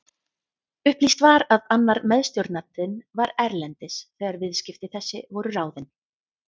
Upplýst var að annar meðstjórnandinn var erlendis þegar viðskipti þessi voru ráðin.